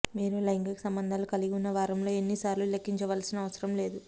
మీరు లైంగిక సంబంధాలు కలిగి ఉన్న వారంలో ఎన్ని సార్లు లెక్కించవలసిన అవసరం లేదు